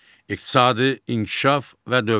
İqtisadi inkişaf və dövlət.